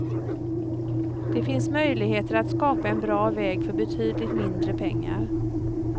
Det finns möjligheter att skapa en bra väg för betydligt mindre pengar.